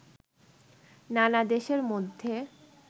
নানা দেশের মধ্যে